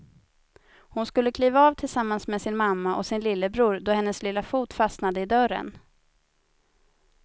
Hon skulle kliva av tillsammans med sin mamma och sin lillebror då hennes lilla fot fastnade i dörren.